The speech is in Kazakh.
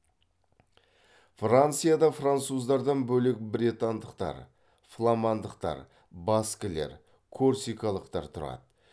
францияда француздардан бөлек бретандықтар фламандықтар баскілер корсикалықтар тұрады